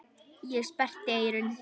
Ég sperrti eyrun.